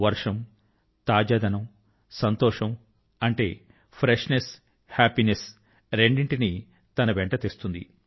వర్షం తాజాదనం సంతోషం అంటే ఫ్రెష్ నెస్ హాపీనెస్ రెండింటినీ తన వెంట తెస్తుంది